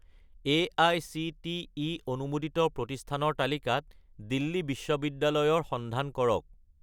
AICTE অনুমোদিত প্ৰতিষ্ঠানৰ তালিকাত দিল্লী বিশ্ববিদ্যালয় ৰ সন্ধান কৰক